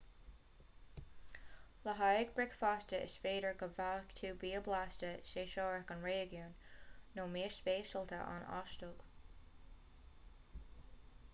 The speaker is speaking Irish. le haghaidh bricfeasta is féidir go bhfaighidh tú bia blasta séasúrach an réigiúin nó mias speisialta an óstaigh